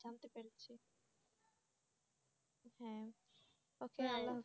হ্যাঁ